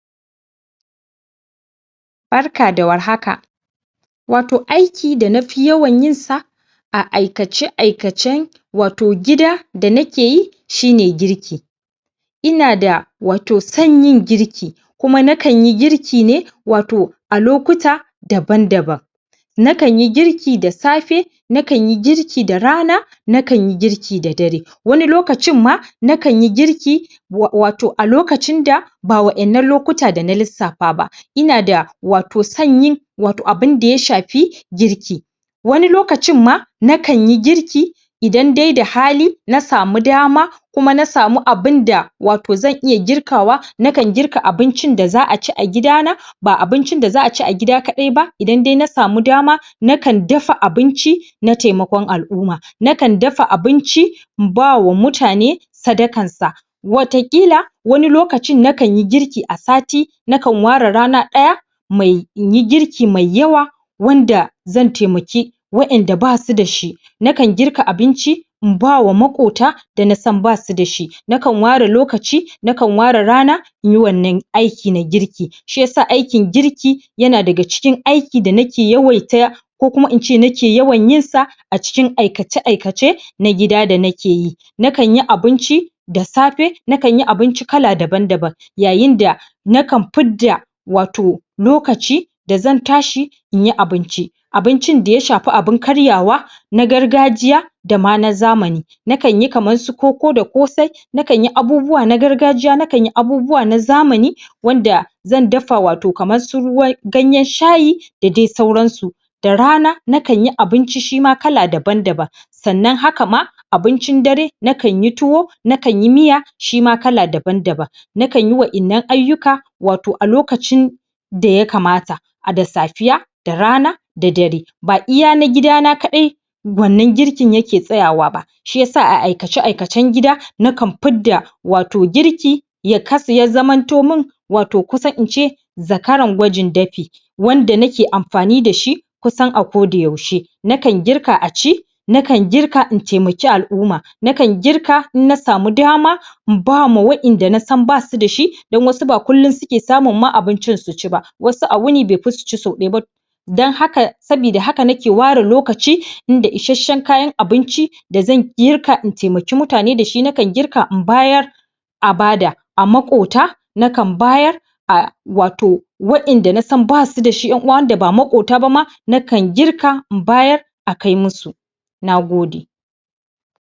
Barka da warhaka wato aiki da na fi yawan yin sa a aikace-aikacen wato gida da nake yi shi ne girki ina da wato san yin girki kuma na kan yi girki ne wato a lokuta daban-daban na kan yi girki da safe na kan yi girki da rana na kan yi girki da dare wani lokacin ma na kan yi girki wato a lokacin da ba waƴannan lokuta da na lissafa ba ina da wato san yin wato abinda ya shafi girki wani lokacin ma na kan yi girki idan dai da hali na samu dama kuma na samu abin da wato zan iya girkawa na kan girka abincin da za'a ci a gida na ba abincin da za'a ci a gida kaɗai ba idan dai na samu dama na kan dafa abinci na temakon al'umma na kan dafa abinci in bawa mutane sadakar sa wata ƙila wani lokacin na kan yi girki a sati na kan ware rana ɗaya mai in yi griki mai yawa wanda zan taimaki wa'inda basu da shi na kan girka abinci in bawa maƙota da na san basu da shi na kan ware lokaci, na kan ware rana in yi wannan aiki na girki shi yasa aikin girki yana daga cikin aiki da nake yawaita ko kuma in ce nake yawan yin sa a cikin aikace-aikace na gida da na ke yi na kan yi abinci da safe, na kan yi abinci kala daban-daban yayin da na kan fidda wato lokaci da zan tashi in yi abinci abincin da ya shafi abin karyawa na gargajiya da ma na zamani na kan yi kaman su koko da ƙosai na kan yi abubuwa na gargajiya, na kan yi abubuwa na zamani wanda zan dafa wato kaman su ruwa ganyen shayi da dai sauran su da rana na kan yi abinci shi ma kala daban-daban sannan haka ma abincin dare na kan yi tuwo na kan yi miya shi ma kala daban-daban na kan yi wa'innan ayyuka wato a lokacin da yakamata a da safiya da rana, da dare ba iya na gida na kaɗai wannan girkin yake tsayawa ba shi yasa a aikace-aikacen gida na kan fidda wato girki ya zamanto min wato kusa in ce zakaran gwajin dafi wanda nake amfani da shi kusan a kodayaushe na kan girka a ci na kan girka in taimaki al'umma na kan girka in na samu dama in ba ma waƴanda nasan basu da shi dan wasu ba kullun suke samun ma abincin su ci ba wasu a wuni bai fi su ci sau ɗaya ba to dan haka sabida haka nake ware lokaci in da isashe kayan abinci da zan girka in taimaki mutane da shi, na kan girka in bayar a bada a maƙota na kan bayar a wato wa'inda na san basu da shi ƴan'uwa wanda ba maƙota ba ma na kan girka in bayar a kai musu na gode.